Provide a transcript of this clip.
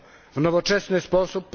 W nowoczesny sposób...